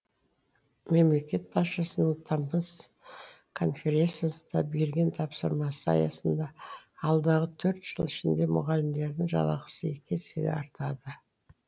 мемлекет басшысының тамыз конференциясында берген тапсырмасы аясында алдағы төрт жыл ішінде мұғалімдердің жалақысы екі есеге артады